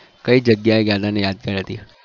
કઈ જગ્યાએ ગયા હાય અને યાદગાર હતી?